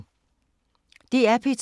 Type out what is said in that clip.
DR P2